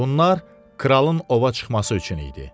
Bunlar kralın ova çıxması üçün idi.